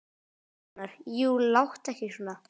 Gunnar: Jú, láttu ekki svona.